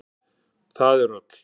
Það eru öll.